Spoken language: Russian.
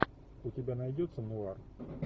у тебя найдется нуар